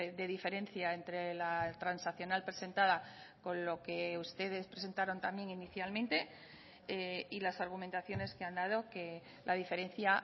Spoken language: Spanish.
de diferencia entre la transaccional presentada con lo que ustedes presentaron también inicialmente y las argumentaciones que han dado que la diferencia